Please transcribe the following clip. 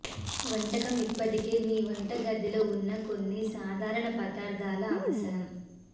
వంటకం ఇప్పటికే మీ వంటగదిలో ఉన్న కొన్ని సాధారణ పదార్ధాల అవసరం